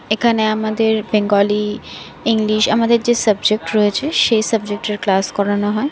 এখানে আমাদের Bengali English আমাদের যে সাবজেক্ট রয়েছে সে সাবজেক্ট -এর ক্লাস করানো হয়।